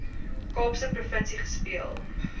kaapse provinsie gespeel